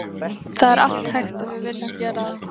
Það er allt hægt en viljum við gera það?